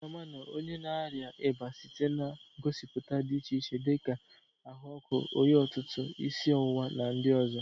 Ị ga-ama onye na-arịa ịba site na ngosipụta dị iche iche dịka ahụ ọkụ, oyi ọtụtụ, isi ọwụwa na ndị ọzọ.